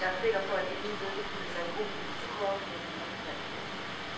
Jeg er sikker på, at ingen i ledelsen eller i gruppen ønsker urafstemning om finansloven.